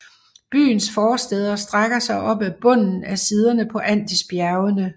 Byens forstæder strækker sig op ad bunden af siderne på Andesbjergene